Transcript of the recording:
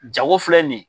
Jago filɛ nin ye